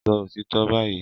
Sọ òtítọ́ báyìí!